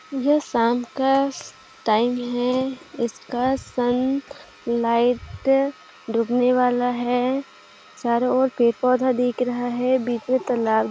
ये शाम का टाइम है इसका सन लाइट रुकने वाला है चारों ओर पेड़-पौधे दिखाई दे रहा है बीच में तालाब--